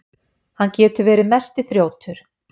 Hann getur verið mesti þrjótur.